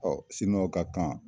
Ɔ siniwaw ka kan